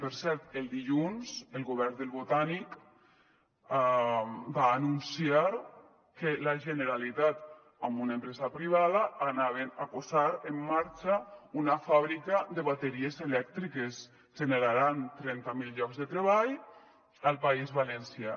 per cert el dilluns el govern del botànic va anunciar que la generalitat amb una empresa privada anava a posar en marxa una fàbrica de bateries elèctriques generaran trenta mil llocs de treball al país valencià